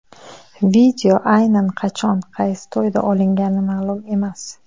Video aynan qachon, qaysi to‘yda olingani ma’lum emas.